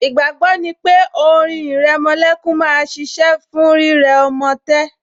Ìgbàgbọ́ ni pé orin ìrẹmolẹ́kún máa ṣiṣẹ́ fún rírẹ ọmọ tẹ́